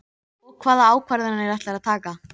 Og hvaða ákvarðanir ætlarðu að taka?